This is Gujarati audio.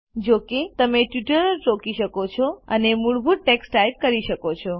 જો કે તમે ટ્યુટોરીયલ રોકી શકો છો અને મૂળભૂત ટેક્સ્ટ ટાઇપ કરી શકો છો